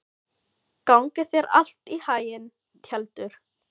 Gangi þér allt í haginn, Tjaldur.